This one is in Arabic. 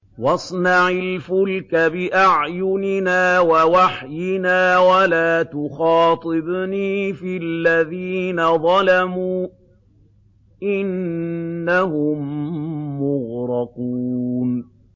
وَاصْنَعِ الْفُلْكَ بِأَعْيُنِنَا وَوَحْيِنَا وَلَا تُخَاطِبْنِي فِي الَّذِينَ ظَلَمُوا ۚ إِنَّهُم مُّغْرَقُونَ